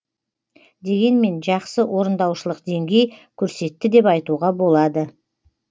дегенмен жақсы орындаушылық деңгей көрсетті деп айтуға болады